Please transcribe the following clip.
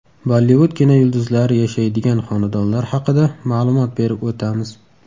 Bollivud kinoyulduzlari yashaydigan xonadonlar haqida ma’lumot berib o‘tamiz.